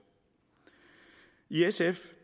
i sf